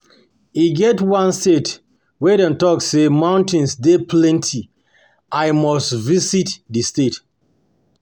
e get one state wey dem talk say mountains dey plenty, I must visit di state.